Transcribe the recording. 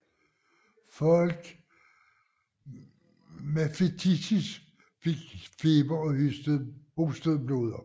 Folk med phthisis fik feber og hostede blod op